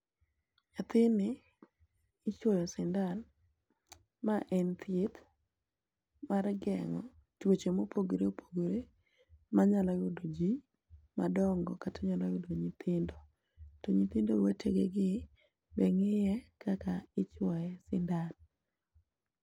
nyathini ichuoyo sindan ma en thieth mar geng'o tuoche mopogore opogore manyalo yudo ji madong'o kata nyalo yudo nyithindo ,to nyithindo wete gi gi be ng'iye kaka ichuoye sindan